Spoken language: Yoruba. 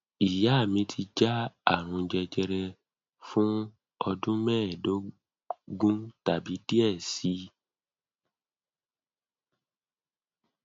iya mi ti ja arun jejere fun ọdun mẹdogun tabi diẹ sii